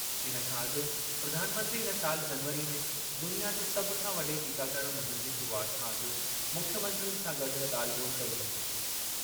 इन खां अॻु प्रधानमंत्री इन साल जनवरी में दुनिया जे सभु खां वॾे टीकाकरण मुहिम जी शुरूआति खां अॻु मुख्यमंत्रियुनि सां गॾु ॻाल्हि ॿोल्हि कई हुई।